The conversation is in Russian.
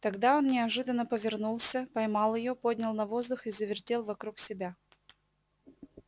тогда он неожиданно повернулся поймал её поднял на воздух и завертел вокруг себя